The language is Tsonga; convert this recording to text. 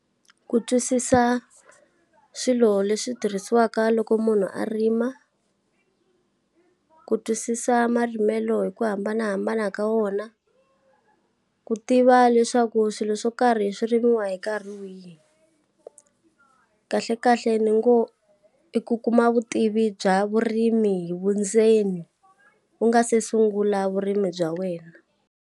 Ku twisisa swilo leswi tirhisiwaka loko munhu a rima, ku twisisa marimelo hi ku hambanahambana ka wona, ku tiva leswaku swilo swo karhi swi rimiwa hi nkarhi wihi. Kahlekahle ni ngo, i ku kuma vutivi bya vurimi hi vundzeni u nga se sungula vurimi bya wena.